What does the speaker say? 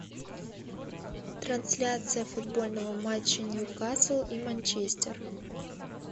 трансляция футбольного матча ньюкасл и манчестер